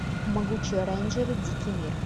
могучие рейнджеры дикий мир